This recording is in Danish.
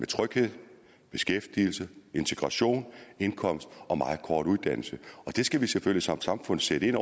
tryghed beskæftigelse integration indkomst og meget kort uddannelse der skal vi selvfølgelig som samfund sætte ind